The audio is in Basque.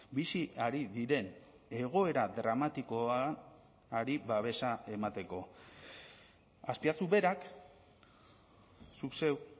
bizi ari diren egoera dramatikoari babesa emateko azpiazu berak zuk zeuk